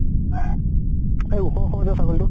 এই ওখ ওখ যে ছাগলী তো ।